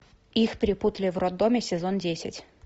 их перепутали в роддоме сезон десять